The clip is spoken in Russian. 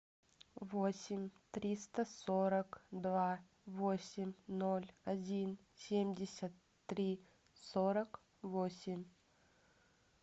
восемь триста сорок два восемь ноль один семьдесят три сорок восемь